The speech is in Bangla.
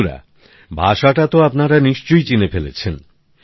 বন্ধুরা ভাষাটা তো আপনারা নিশ্চয় চিনে ফেলেছেন